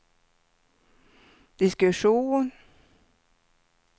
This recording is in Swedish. diskussion